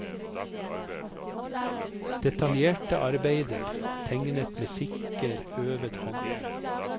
Detaljerte arbeider, tegnet med sikker, øvet hånd.